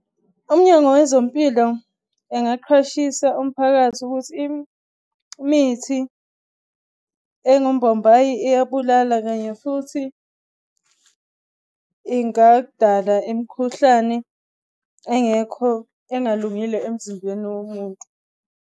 Umnyango wezempilo engaqhwashisa umphakathi ukuthi imithi engumbombayi iyabulala, kanye futhi ingadala imikhuhlane engekho engalungile emzimbeni womuntu.